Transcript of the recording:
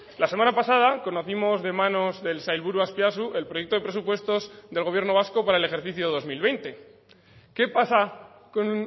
la semana pasada conocimos de manos del sailburu azpiazu el proyecto de presupuestos del gobierno vasco para el ejercicio dos mil veinte qué pasa con